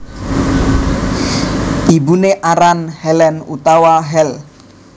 Ibuné aran Helen utawa Hel